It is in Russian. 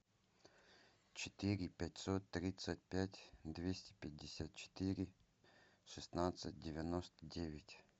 четыре пятьсот тридцать пять двести пятьдесят четыре шестнадцать девяносто девять